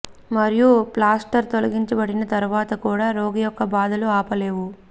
మరియు ప్లాస్టర్ తొలగించబడిన తర్వాత కూడా రోగి యొక్క బాధలు ఆపలేవు